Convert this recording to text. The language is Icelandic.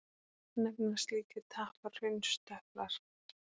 Nefnast slíkir tappar hraunstöplar.